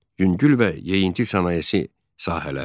Yüngül və yeyinti sənayesi sahələri.